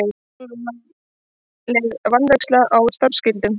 Alvarleg vanræksla á starfsskyldum